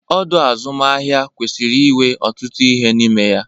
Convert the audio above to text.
Ọdọ azụmahịa kwesịrị inwe ọtụtụ ihe n'ime ya.